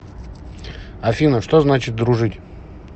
афина что значит дружить